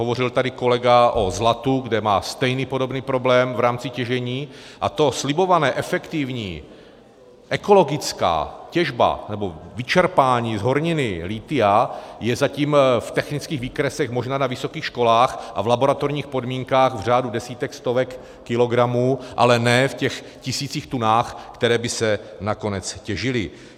Hovořil tady kolega o zlatu, kde má stejný podobný problém v rámci těžení, a to slibované, efektivní, ekologická těžba nebo vyčerpání z horniny lithia, je zatím v technických výkresech možná na vysokých školách a v laboratorních podmínkách v řádu desítek, stovek kilogramů, ale ne v těch tisících tun, které by se nakonec těžily.